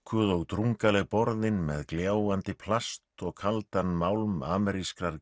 ódúkuð og drungaleg borðin með gljáandi plast og kaldan málm amerískrar